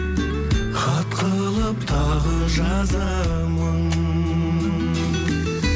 хат қылып тағы жазамын